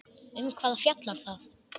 Um hvað fjallar það?